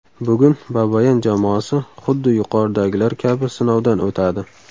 Bugun Babayan jamoasi xuddi yuqoridagilar kabi sinovdan o‘tadi.